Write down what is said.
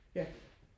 ja